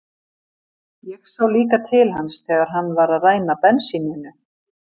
Ég sá líka til hans þegar hann var að ræna bensíninu.